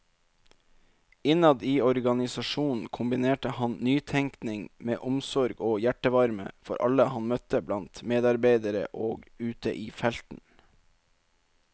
Innad i organisasjonen kombinerte han nytenkning med omsorg og hjertevarme for alle han møtte blant medarbeidere og ute i felten.